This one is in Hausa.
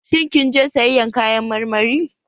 Shin kin je sayayyan kayan marmari?